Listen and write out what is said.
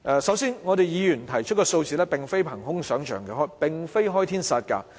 首先，議員提出的數額並非憑空想象、開天殺價。